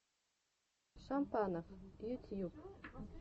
шампанов ютьюб